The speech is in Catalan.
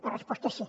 la resposta és sí